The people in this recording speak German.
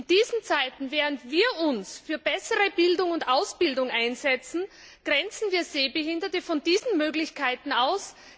In diesen Zeiten, in denen wir uns für bessere Bildung und Ausbildung einsetzen, grenzen wir Sehbehinderte von diesen Möglichkeiten aus.